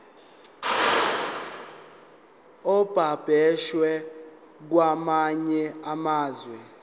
ababoshwe kwamanye amazwe